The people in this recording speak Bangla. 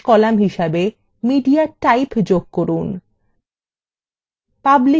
এখানে শেষ column হিসাবে mediatype যোগ করুন